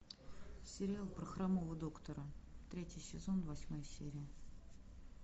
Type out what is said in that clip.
сериал про хромого доктора третий сезон восьмая серия